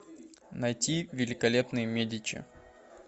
найти великолепные медичи